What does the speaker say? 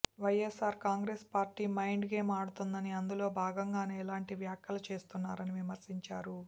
YSR Congress party mind game ఆడుతోందని అందులో భాగంగానే ఇలాంటి వ్యాఖ్యలు చేస్తున్నారని విమర్శించారు